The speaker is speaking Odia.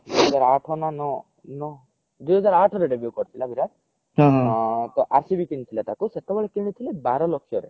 ଦୁଇ ହଜାର ଆଠ ନା ନ ଦୁଇ ହଜାର ଆଠ ରେ debut କରିଥିଲା ବିରାଟ ତ RCB କିଣିଥିଲା ତାକୁ ତ ସେତେବେଳେ କିଣିଥିଲେ ବାର ଲକ୍ଷ ରେ